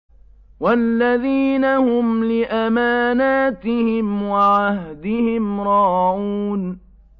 وَالَّذِينَ هُمْ لِأَمَانَاتِهِمْ وَعَهْدِهِمْ رَاعُونَ